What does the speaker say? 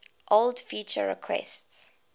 old feature requests